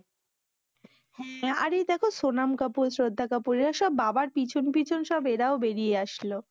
হ্যা, আর এই দেখো সোনাম কাপুর শ্রদ্ধা কাপুর এরা ওসব বাবার পিছন পিছন সব এরাও বেরিয়ে আসল।